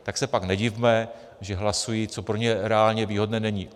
Tak se pak nedivme, že hlasují, co pro ně reálně výhodné není.